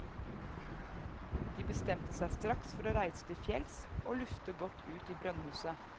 De bestemte seg straks for å reise til fjells og lufte godt ut i brønnhuset.